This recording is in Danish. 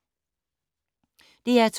DR2